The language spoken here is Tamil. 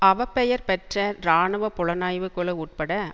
அவப்பெயர் பெற்ற இராணுவ புலனாய்வு குழு உட்பட